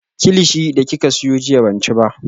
Kilichi da kika siyo jiya ban ci ba